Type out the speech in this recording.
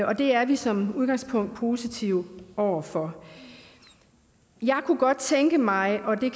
og det er vi som udgangspunkt positive over for jeg kunne godt tænke mig og